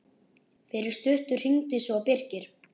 Fyrir stuttu hringdi svo Birkir.